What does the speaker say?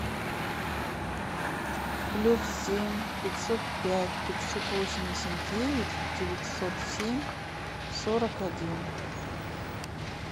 плюс семь пятьсот пять пятьсот восемьдесят девять девятьсот семь сорок один